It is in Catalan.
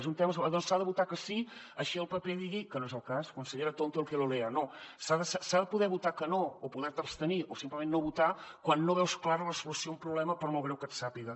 doncs s’hi ha de votar que sí així el paper digui que no és el cas consellera tonto el que lo leaque no o poder te abstenir o simplement no votar quan no veus clara la solució a un problema per molt greu que et sàpiga